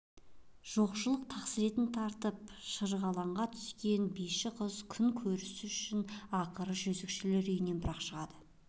жоқшылық тақсыретін тартып шырғалаңға түскен биші қыз күн көрісі үшін ақыры жезөкшелер үйінен бір-ақ шығады